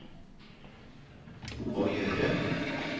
å gjøre